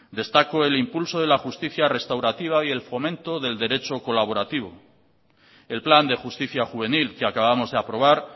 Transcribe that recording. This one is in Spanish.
destaco el impulso de la justicia restaurativa y el fomento del derecho colaborativo el plan de justicia juvenil que acabamos de aprobar